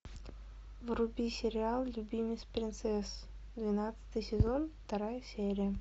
вруби сериал любимец принцесс двенадцатый сезон вторая серия